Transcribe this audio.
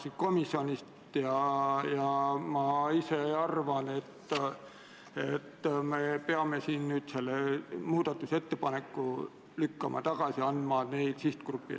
Eelnõu esitajat esindavad Kaitseministeeriumi ametnikud toetasid eelnõu kohta tehtud riigikaitsekomisjoni keelelisi täpsustusi.